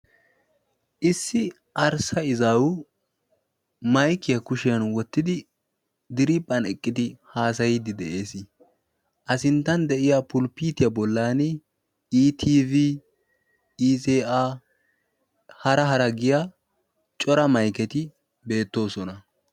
issi arssa izaawu maykiya kushiyan wottidi diriiphphan eqqidi haasayiddi de'ees a sinttan de'iya pulipitiyaa bollan i tiiv iza hara hara giya cora mayketi beettoosona